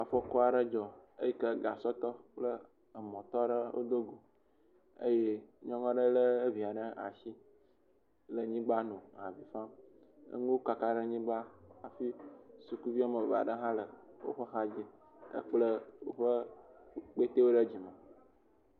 Afɔku aɖe dzɔ eyi ke gasɔtɔ aɖe kple emɔtɔ ɖe wodogo eye nyɔnua ɖe lé evia ɖe asi le anyigba nɔ avi fam. Enuwo kaka ɖe anyigba hafi sukuvi ame ve ɖe hã le woƒe hadzi hekple woƒe kpetewo ɖe dzime